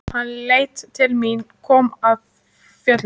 Hann leit til mín, kom af fjöllum.